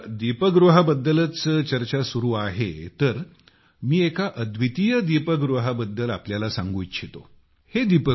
तसेच दीपगृहाबद्दलच चर्चा चालू आहे तर मी एका अद्वितीय दीपगृहाबद्दल तुम्हाला सांगू इच्छितो